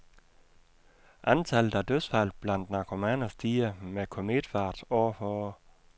Antallet af dødsfald blandt narkomaner stiger med kometfart år for år .